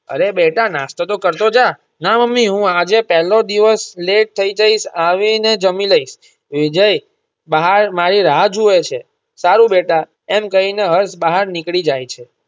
અરે બેટા નાસ્તો તો કરતો જા ના મમ્મી હું આજે પેલ્લો દિવસ late થઇ જઈશ આવી ને જમી લઈશ વિજય બહાર મારી રાહ જુવે છે સારું બેટા એમ કહી ને હર્ષ બહાર નીકળી જાય છે.